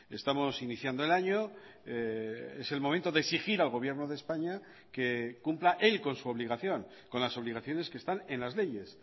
estamos iniciando el año es el momento de exigir al gobierno de españa que cumpla él con su obligación con las obligaciones que están en las leyes